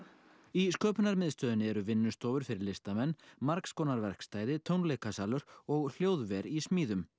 í eru vinnustofur fyrir listamenn margs konar verkstæði tónleikasalur og hljóðver í smíðum